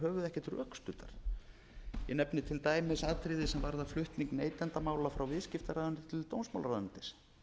ekkert rökstuddar ég nefni til dæmis atriði sem varða flutning neytendamála frá viðskiptaráðuneyti til dómsmálaráðuneytis